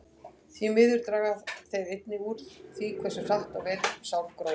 Því miður draga þeir einnig úr því hversu hratt og vel sár gróa.